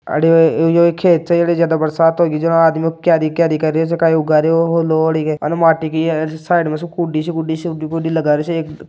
यह खेत हैं इक ज्यादा बरसात यह आदमी कई कई कर रहिया उगा रहियो हैं लोड और माटी के और साईड में सुखो कुड़ी कुड़ी सी लगा रो हैं।